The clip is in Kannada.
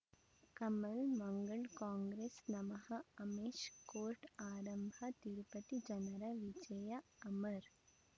ಕಮಲ್ ಮಂಗಳ್ ಕಾಂಗ್ರೆಸ್ ನಮಃ ಅಮಿಷ್ ಕೋರ್ಟ್ ಆರಂಭ ತಿರುಪತಿ ಜನರ ವಿಜಯ ಅಮರ್